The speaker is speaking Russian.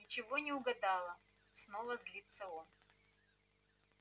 ничего не угадала снова злится он